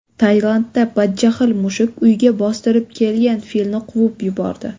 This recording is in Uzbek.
Tailandda badjahl mushuk uyga bostirib kelgan filni quvib yubordi .